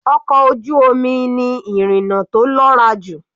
Ọkọ̀ ojú omi ni ìrìna tó lọ́ra jù.